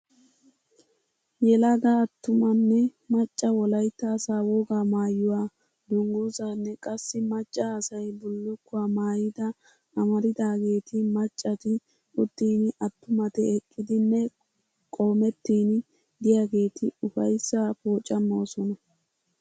Yelaga attumanne macca Wolaytta asaa wogaa maayuwaa dungguzzaanne qassi macca asay bulukkuwaa maayida amaridageeti maccati uttin attumat eqqidinne qoomettin diyaageeti ufayssaa poocamoosona.